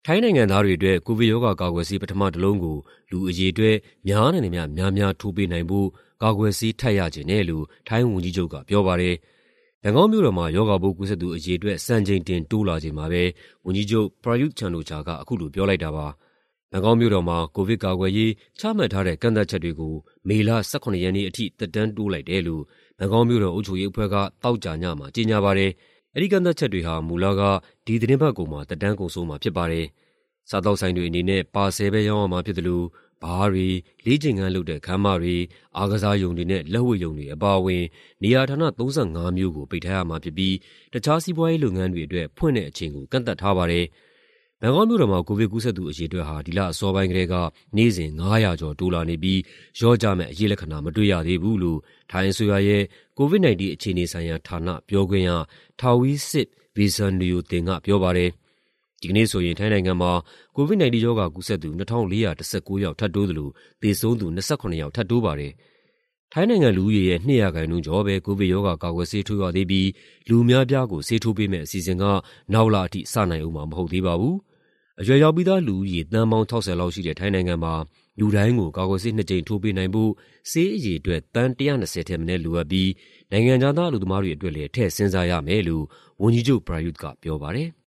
ိုင်းနိုင်ငံသားတွေအတွက် ကိုဗစ်ရောဂါကာကွယ်ဆေး ပထမတလုံးကို လူအရေအတွက် များနိုင်သမျှများများ ထိုးပေးနိုင်ဖို့ ကာကွယ်ဆေး ထပ်ရချင်တယ်လို့ ထိုင်းဝန်ကြီးချုပ်က ပြောပါတယ်။ ဘန်ကောက်မြို့တော်မှာ ရောဂါပိုးကူးစက်သူ အရေအတွက် စံချိန်တင် တိုးလာချိန်မှာပဲ ဝန်ကြီးချုပ် ပရာယုသ် ချန်အိုချာက အခုလို ပြောလိုက်တာပါ။ ဘန်ကောက်မြို့တော်မှာ ကိုဗစ်ကာကွယ်ရေး ချမှတ်ထားတဲ့ ကန့်သတ်ချက်တွေကို မေလ ၁၇ ရက်နေ့အထိ သက်တမ်းတိုးလိုက်တယ်လို့ ဘန်ကောက်မြို့တော် အုပ်ချုပ်ရေးအဖွဲ့က သောကြာညမှာ ကြေညာပါတယ်။ အဲဒီကန့်သတ်ချက်တွေဟာ မူလက ဒီသီတင်းပတ်ကုန်မှာ သက်တမ်းကုန်ဆုံးမှာ ဖြစ်ပါတယ်။ စားသောက်ဆိုင်တွေအနေနဲ့ ပါဆယ်ပဲ ရောင်းရမှာဖြစ်သလို ဘားတွေ၊ လေ့ကျင့်ခန်းလုပ်တဲ့ ခန်းမတွေ၊ အားကစားရုံတွေနဲ့ လက်ဝှေ့ရုံတွေ အပါအဝင် နေရာဌာန ၃၅ မျိုးကို ပိတ်ထားရမှာဖြစ်ပြီး တခြား စီးပွားရေးလုပ်ငန်းတွေအတွက် ဖွင့်တဲ့အချိန်ကို ကန့်သတ်ထားပါတယ်။ ဘန်ကောက်မြို့တော်မှာ ကိုဗစ်ကူးစက်သူ အရေအတွက်ဟာ ဒီလအစောပိုင်းကတည်းက နေ့စဉ် ၅၀၀ ကျော် တိုးလာနေပြီး လျော့ကျမယ့် အရိပ်လက္ခဏာ မတွေ့ရသေးဘူးလို့ ထိုင်းအစိုးရရဲ့ COVID-19 အခြေအနေဆိုင်ရာဌာန ပြောခွင့်ရ Taweesilp Visanuyothin က ပြောပါတယ်။ ဒီကနေ့ဆိုရင် ထိုင်းနိုင်ငံမှာ COVID-19 ရောဂါကူးစက်သူ ၂,၄၁၉ ယောက် ထပ်တိုးသလို သေဆုံးသူ ၂၇ ယောက် ထပ်တိုးပါတယ်။ ထိုင်းနိုင်ငံလူဦးရေရဲ့ ၂ ရာခိုင်နှုန်းကျော်ပဲ ကိုဗစ်ရောဂါကာကွယ်ဆေး ထိုးရသေးပြီး လူအများအပြားကို ဆေးထိုးပေးမယ့် အစီအစဉ်က နောက်လအထိ စနိုင်ဦးမှာ မဟုတ်သေးပါဘူး။ အရွယ်ရောက်ပြီးသားလူဦးရေ သန်းပေါင်း ၆၀ လောက်ရှိတဲ့ ထိုင်းနိုင်ငံမှာ လူတိုင်းကို ကာကွယ်ဆေးနှစ်ကြိမ် ထိုးပေးနိုင်ဖို့ ဆေးအရေအတွက် သန်း ၁၂၀ ထက်မနည်း လိုအပ်ပြီး နိုင်ငံခြားသား အလုပ်သမားတွေ အတွက်လည်း ထည့်စဉ်းစားရမယ်လို့ ဝန်ကြီးချုပ် ပရာယုသ်က ပြောပါတယ်။